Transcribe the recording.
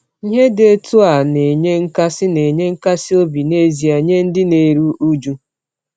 Ihe dị otu a na-enye nkasi na-enye nkasi obi n’ezie nye ndị na-eru uju.